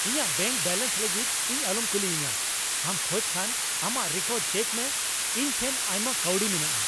ᱤᱧᱟᱜ bank balance ᱞᱟᱹᱜᱤᱫ ᱤᱧ ᱟᱞᱚᱢ ᱠᱩᱞᱤᱭᱤᱧᱟ ᱾ ᱟᱢ ᱠᱷᱚᱡ ᱠᱷᱟᱱ ᱟᱢᱟᱜ ᱨᱮᱠᱚᱨᱰ ᱪᱮᱠ ᱢᱮ ᱾ ᱤᱧ ᱴᱷᱮᱱ ᱟᱭᱢᱟ ᱠᱟᱹᱣᱰᱤ ᱢᱮᱱᱟᱜᱼᱟ ᱾